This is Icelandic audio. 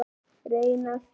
Reynistað